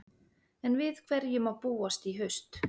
En við hverju má búast í haust?